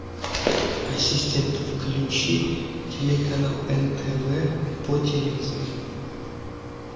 ассистент включи телеканал нтв по телевизору